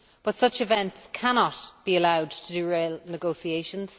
But such events cannot be allowed to derail negotiations.